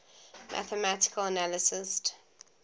mathematical analysts